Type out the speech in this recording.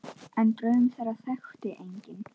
En draum þeirra þekkti enginn.